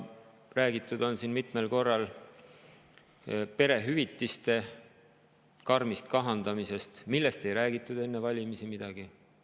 Siin on mitmel korral räägitud perehüvitiste karmist kahandamisest, millest enne valimisi ei räägitud midagi.